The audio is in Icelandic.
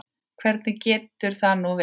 Hvernig getur það nú verið?